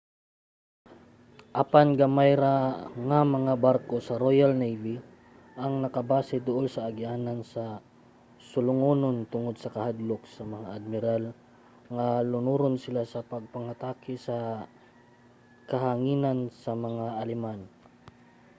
apan gamay ra nga mga barko sa royal navy ang nakabase duol sa agianan sa sulungonon tungod sa kahadlok sa mga admiral nga lunuron sila sa pagpangatake sa kahanginan sa mga aleman